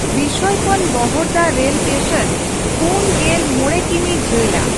ᱵᱤᱥᱳᱭ ᱠᱷᱚᱱ ᱵᱚᱦᱚᱲᱫᱟ rail station ᱯᱩᱱ ᱜᱮᱞ ᱢᱚᱲᱮ ᱠᱤᱢᱤ ᱡᱷᱟ.ᱞᱟ᱾